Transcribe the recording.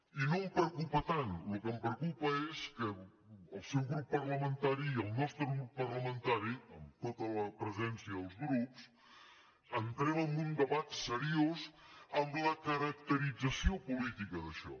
i no em preocupa tant el que em preocupa és que el seu grup parlamentari i el nostre grup parlamentari amb tota la presència dels grups entrem en un debat seriós en la caracterització política d’això